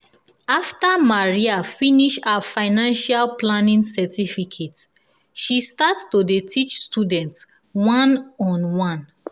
after maria finish her financial planning certificate she start to dey teach students one-on-one.